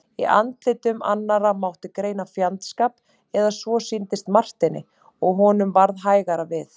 Í andlitum annarra mátti greina fjandskap, eða svo sýndist Marteini og honum varð hægara við.